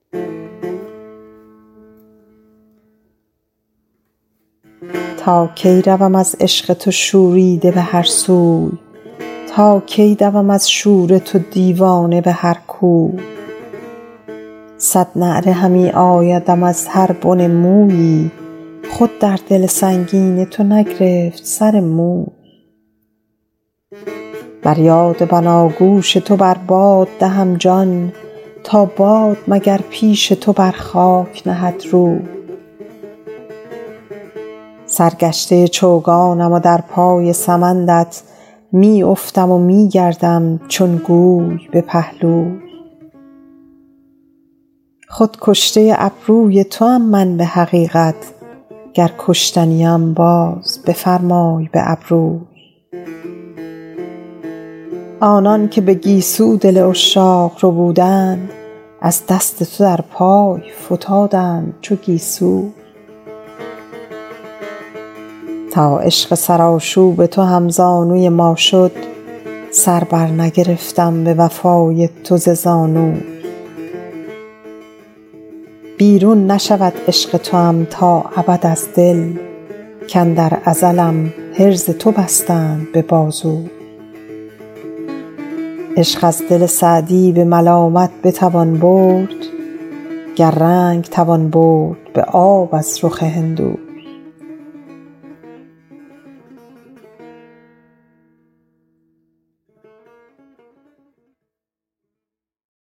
تا کی روم از عشق تو شوریده به هر سوی تا کی دوم از شور تو دیوانه به هر کوی صد نعره همی آیدم از هر بن مویی خود در دل سنگین تو نگرفت سر موی بر یاد بناگوش تو بر باد دهم جان تا باد مگر پیش تو بر خاک نهد روی سرگشته چو چوگانم و در پای سمندت می افتم و می گردم چون گوی به پهلوی خود کشته ابروی توام من به حقیقت گر کشته نیم باز بفرمای به ابروی آنان که به گیسو دل عشاق ربودند از دست تو در پای فتادند چو گیسوی تا عشق سرآشوب تو هم زانوی ما شد سر بر نگرفتم به وفای تو ز زانوی بیرون نشود عشق توام تا ابد از دل کاندر ازلم حرز تو بستند به بازوی عشق از دل سعدی به ملامت بتوان برد گر رنگ توان برد به آب از رخ هندوی